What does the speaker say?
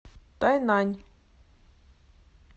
тайнань